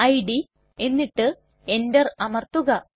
id എന്നിട്ട് Enter അമർത്തുക